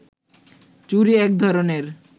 চুড়ি একধরণের